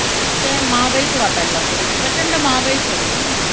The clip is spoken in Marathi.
कि ते काय महागाईच वाटायलागते म्हणजे प्रचंड महागाईच होतीये ती